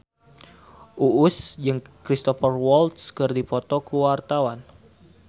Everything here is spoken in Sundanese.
Uus jeung Cristhoper Waltz keur dipoto ku wartawan